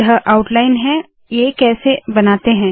यह रूपरेखा है ये कैसे बनाते है160